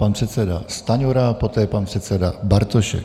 Pan předseda Stanjura, poté pan předseda Bartošek.